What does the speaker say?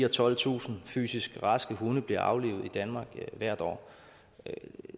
og tolvtusind fysisk raske hunde bliver aflivet i danmark hvert år